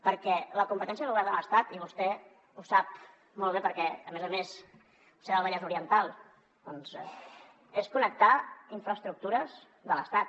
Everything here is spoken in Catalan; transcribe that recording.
perquè la competència del govern de l’estat i vostè ho sap molt bé perquè a més a més vostè és del vallès oriental és connectar infraestructures de l’estat